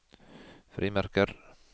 frimerker